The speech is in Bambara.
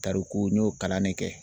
Tariku n y'o kalan ne kɛ.